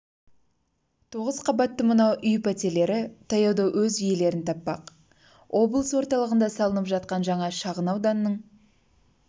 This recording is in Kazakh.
тоғыз қабатты мынау үй пәтерлері таяуда өз иелерін таппақ облыс орталығында салынып жатқан жаңа шағын ауданның